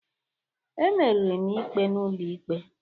Emeri m ikpe n'ụlọikpe